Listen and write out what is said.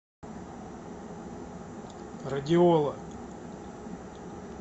радиола